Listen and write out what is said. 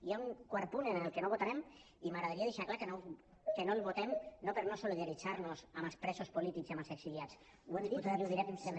i hi ha un quart punt en què no votarem i m’agradaria deixar clar que no el votem no per no solidaritzar nos amb els presos polítics i amb els exiliats ho hem dit i ho direm sempre